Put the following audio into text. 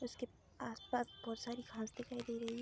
उसके आस-पास बहोत सारी घास दिखाई दे रही है।